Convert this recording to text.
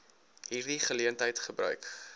hierdie geleentheid gebruik